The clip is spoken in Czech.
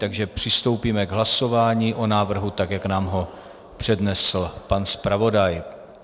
Takže přistoupíme k hlasování o návrhu tak, jak nám ho přednesl pan zpravodaj.